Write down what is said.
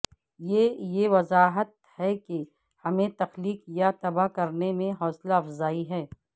یہ یہ وضاحت ہے کہ ہمیں تخلیق یا تباہ کرنے میں حوصلہ افزائی ہے